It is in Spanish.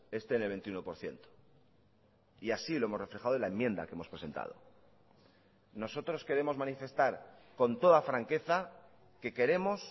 esté en el veintiuno por ciento y así lo hemos reflejado en la enmienda que hemos presentado nosotros queremos manifestar con toda franqueza que queremos